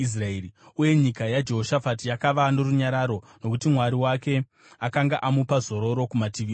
Uye nyika yaJehoshafati yakava norunyararo, nokuti Mwari wake akanga amupa zororo kumativi ose.